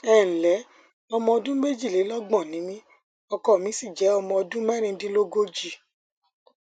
ẹ ǹlẹ ọmọ ọdún méjìlélọgbọn ni mí ọkọ mi sì jẹ ọmọ ọdún mẹrìndínlógójì